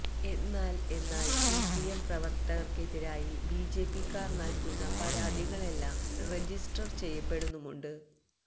എന്നാൽ എന്നാൽ സിപിഎം പ്രവർത്തകർക്കെതിരായി ബിജെപിക്കാർ നൽകുന്ന പരാതികളെല്ലാം രജിസ്റ്റർ ചെയ്യപ്പെടുന്നുമുണ്ട്